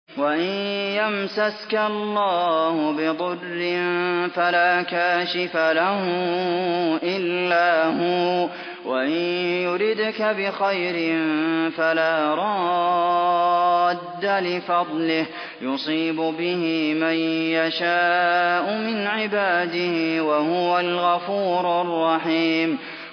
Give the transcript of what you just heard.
وَإِن يَمْسَسْكَ اللَّهُ بِضُرٍّ فَلَا كَاشِفَ لَهُ إِلَّا هُوَ ۖ وَإِن يُرِدْكَ بِخَيْرٍ فَلَا رَادَّ لِفَضْلِهِ ۚ يُصِيبُ بِهِ مَن يَشَاءُ مِنْ عِبَادِهِ ۚ وَهُوَ الْغَفُورُ الرَّحِيمُ